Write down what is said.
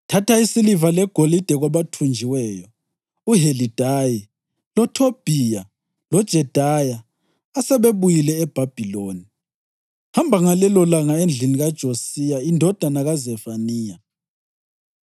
“Thatha isiliva legolide kwabathunjiweyo uHelidayi loThobhiya loJedaya asebebuyile eBhabhiloni. Hamba ngalelolanga endlini kaJosiya indodana kaZefaniya.